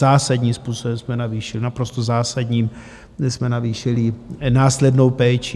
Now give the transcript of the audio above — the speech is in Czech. Zásadním způsobem jsme navýšili, naprosto zásadním jsme navýšili následnou péči.